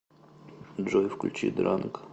джой включи дранк